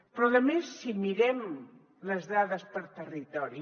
però a més si mirem les dades per territori